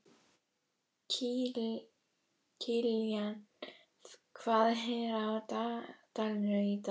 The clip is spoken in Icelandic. Kilían, hvað er á dagatalinu í dag?